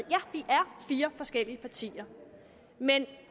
fire forskellige partier men